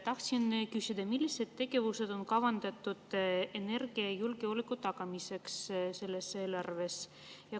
Tahtsin küsida, millised tegevused on selles eelarves kavandatud energiajulgeoleku tagamiseks.